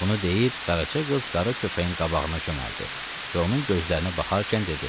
Bunu deyib Qaraca qız qara köpəyin qabağına çömbəldi və onun gözlərinə baxarkən dedi: